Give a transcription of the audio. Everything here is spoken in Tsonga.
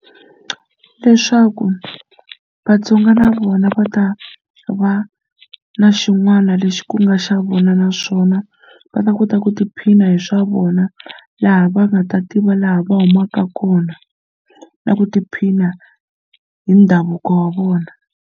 Leswaku Vatsonga na vona va ta va na xin'wana lexi ku nga xa vona naswona va ta kota ku tiphina hi swa vona laha va nga ta tiva laha va humaka kona na ku tiphina hi ndhavuko wa vona.